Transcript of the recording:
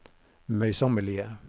møysommelige